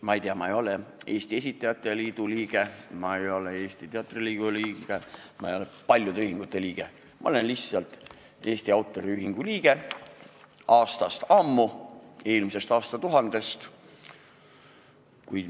Mina ei ole Eesti Esitajate Liidu liige, ma ei ole Eesti Teatriliidu liige, ma ei ole paljude ühingute liige, ma olen lihtsalt Eesti Autorite Ühingu liige juba eelmisest aastatuhandest.